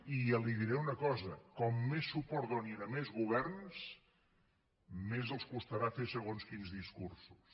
i li diré una cosa com més suport donin a més governs més els costarà fer segons quins discursos